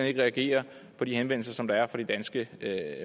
ikke reagerer på de henvendelser som der er fra de danske